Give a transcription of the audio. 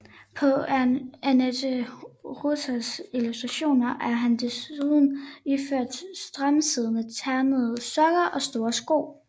På Annette Reuters illustrationer er han desuden iført stramtsiddende ternede sokker og store sko